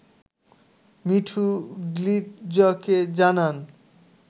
মিঠু গ্লিটজকে জানান